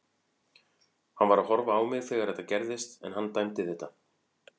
Hann var að horfa á mig þegar þetta gerðist en hann dæmdi þetta.